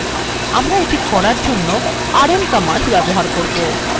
আমরা এটি করার জন্য rm command ব্যবহার করবো